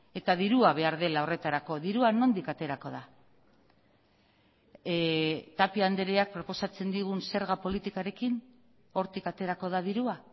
eta dirua behar dela horretarako dirua nondik aterako da tapia andreak proposatzen digun zerga politikarekin hortik aterako da dirua